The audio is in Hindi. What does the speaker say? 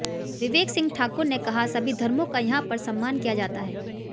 विवेक सिंह ठाकुर ने कहा सभी धर्मों का यहां पर सम्मान किया जाता है